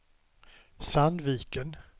Sandviken